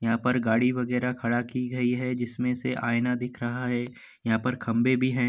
यहाँ पर गाड़ी वगैरा खड़ा की गई है जिसमें से आइना दिख रहा है | यहाँ पर खंभे भी हैं |